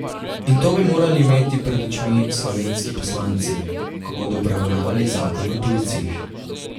In to bi morali imeti pred očmi slovenski poslanci, ko bodo obravnavali zakon o tujcih.